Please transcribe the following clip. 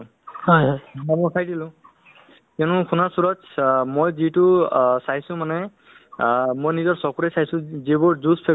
হয় so মানে ধৰক এতিয়া আপুনি যিবোৰ কথা ক'লে মানে সেইবোৰ মানে অতি মানে ধৰক সুন্দৰ কথা আপুনি কিবা এটা ভাল অ কথা ক'লে